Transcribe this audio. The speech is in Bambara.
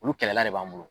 Olu kɛlɛla de b'an bolo